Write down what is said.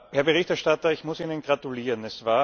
Herr Berichterstatter, ich muss Ihnen gratulieren!